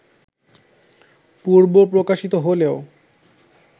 পূর্ব প্রকাশিত হলেও